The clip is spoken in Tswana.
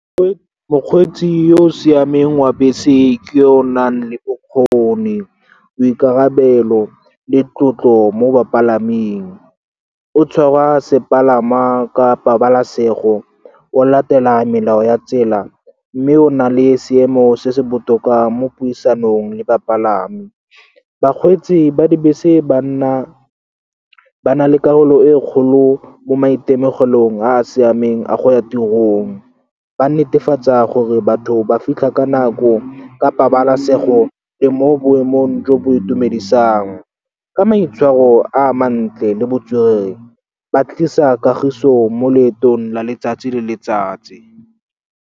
Mokgweetsi yo o siameng wa bese ke yo o nang le bokgoni, boikarabelo le tlotlo mo bapalaming. O tshwara sepalama ka pabalasego, o latela melao ya tsela, mme o na le seemo se se botoka mo puisanong le bapalami. Bakgweetsi ba dibese ba na le karolo e kgolo mo maitemogelong a a siameng a go ya tirong. Ba netefatsa gore batho ba fitlha ka nako, ka pabalesego le mo boemong jo bo itumedisang. Ka maitshwaro a mantle le botswerere, ba tlisa kagiso mo leetong la letsatsi le letsatsi.